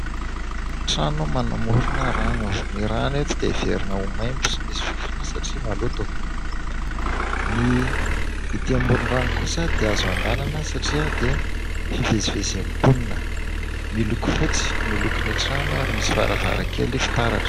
Trano manamorona rano. Ny rano eto dia heverina ho maimbo sy misy fofona satria maloto. Ny ety amoron-drano kosa dia azo handehanana satria dia hivezivezen'ny mponina ; miloko fotsy ny lokon'ny trano ary misy varavarankely fitaratra.